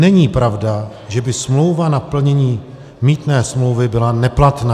Není pravda, že by smlouva na plnění mýtné smlouvy byla neplatná.